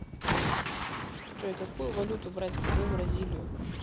джой какую валюту брать с собой в бразилию